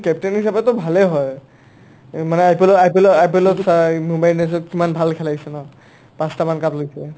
captain হিচাপেটো ভালে হয় অ মানে IPL ত IPL ত IPL ত চাই বোমৰাই ইন্দিআন্স্তো কিমান ভাল খেলাইছে ন পাচটা মান cup লৈছে